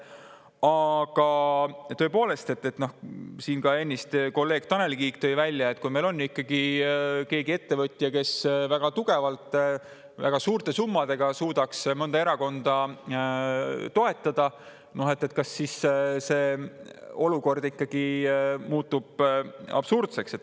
Aga tõepoolest, ennist ka kolleeg Tanel Kiik tõi välja, et kui meil on keegi ettevõtja, kes väga tugevalt, väga suurte summadega suudab mõnda erakonda toetada, siis kas see olukord ikkagi muutub absurdseks.